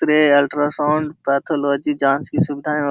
ultrasound pathology जाँच की सुविधा --